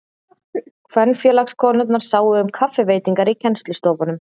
Kvenfélagskonurnar sáu um kaffiveitingar í kennslustofunum.